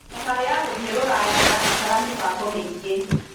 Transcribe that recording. Thabarĩ ya gũthiĩ Rũraya ĩrabatara mĩbango mĩingĩ.